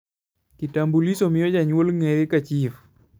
kitambulisho miyo janyuol ngere ka chif k